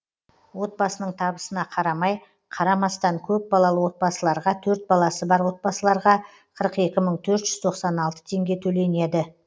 отбасының табысына қарамай қарамастан көп балалы отбасыларға төрт баласы бар отбасыларға қырық екі мың төрт жүз тоқсан алты теңге төленеді